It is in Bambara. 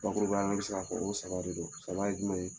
Bakurubayala ne bɛ se fɔ ko saba de don, saba ye jumɛn ye?